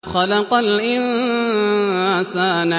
خَلَقَ الْإِنسَانَ